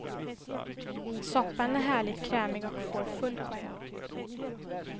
Soppan är härligt krämig och får full poäng.